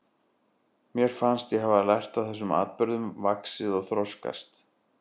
Mér fannst ég hafa lært af þessum atburðum, vaxið og þroskast.